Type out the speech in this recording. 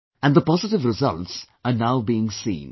And the positive results are now being seen